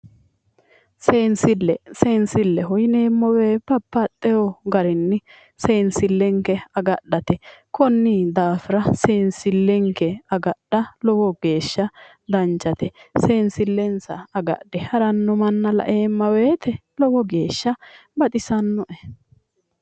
Seensille seensilleho yineemmo woyite baxxewo garinni seensillenke agadhate konni daafira seensillenke agadha lowo geesha danchate seensillensa agadhe haranno manna la'eemma woyite lowo geesha baxisanno'e